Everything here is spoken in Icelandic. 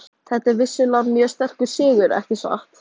Þetta er vissulega mjög sterkur sigur, ekki satt?